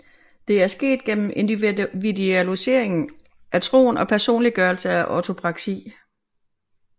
Det er sket gennem individualisering af troen og en personliggørelse af ortopraksi